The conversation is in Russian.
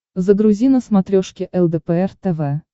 загрузи на смотрешке лдпр тв